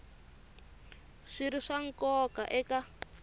swi ri swa nkoka eka